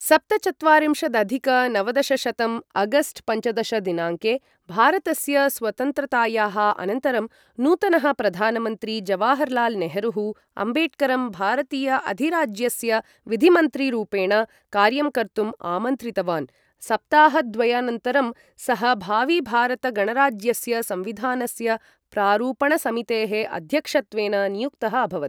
सप्तचत्वारिंशदधिक नवदशशतं अगस्ट् पञ्चदश दिनाङ्के भारतस्य स्वतन्त्रतायाः अनन्तरं, नूतनः प्रधानमन्त्री जवाहरलालनेहरूः, अम्बेडकरं भारतीय अधिराज्यस्य विधिमन्त्रीरूपेण कार्यं कर्तुं आमन्त्रितवान्, सप्ताहद्वयानन्तरं सः भाविभारतगणराज्यस्य संविधानस्य प्रारूपणसमितेः अध्यक्षत्वेन नियुक्तः अभवत्।